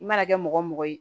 I mana kɛ mɔgɔ mɔgɔ ye